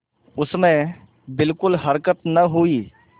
उसमें बिलकुल हरकत न हुई